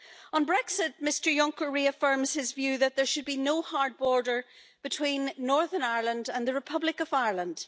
On Brexit, Mr Juncker reaffirms his view that there should be no hard border between Northern Ireland and the Republic of Ireland.